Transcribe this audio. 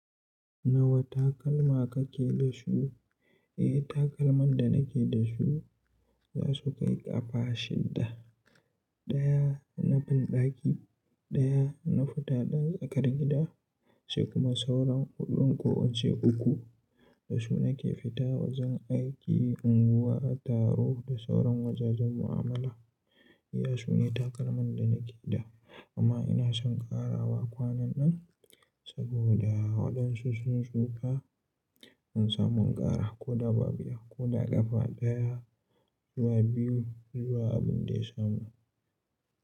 Nawa takalma kake da su? Eh, takalman da nake da su za su kai ƙafa shidda. Daya na banɗaki, daya na fita ɗan tsakar gida sai kuma sauran huɗun kowacce uku da su nake fita wajen aiki, unguwa, taro da sauran wajajen mu'amala. Iya sune takalman da nake da amma ina son ƙarawa kwanan nan saboda waɗansu sun shuka. In samu ƙara ko dabba biyar ko da ƙafa daya zuwa biyu zuwa abin da ya samu.